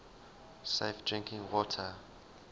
safe drinking water